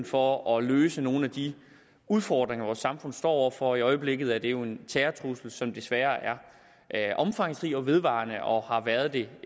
for at løse nogle af de udfordringer vores samfund står over for i øjeblikket er det jo en terrortrussel som desværre er omfangsrig og vedvarende og har været det